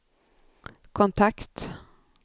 kontakt